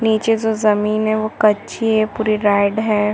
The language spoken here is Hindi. नीचे जो जमीन है वो कच्ची है जो पूरी राइड हैं।